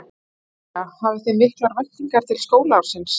María: Hafið þið miklar væntingar til skólaársins?